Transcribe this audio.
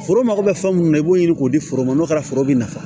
Foro mago bɛ fɛn mun na i b'o ɲini k'o di foro ma n'o kɛra foro bɛ nafa